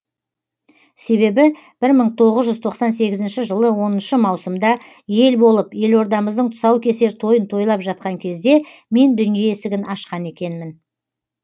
себебі бір мың тоғыз жүз тоқсан сегізінші жылы оныншы маусымда ел болып елордамыздың тұсаукесер тойын тойлап жатқан кезде мен дүние есігін ашқан екенмін